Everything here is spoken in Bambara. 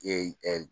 Ee